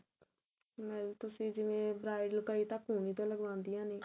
ਤੁਸੀਂ ਜਿਵੇਂ bridal ਕਈ ਤਾਂ ਕੂਹਣੀ ਤੋਂ ਲੱਗਵਾਂਦੀਆ ਨੇ